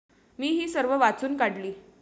मी ही सर्व वाचून काढली.